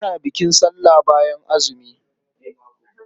Ana bukin sallah bayan azumi.